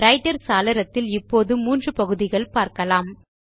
writer சாளரத்தில் இப்போது மூன்று பகுதிகளை பார்க்கலாம்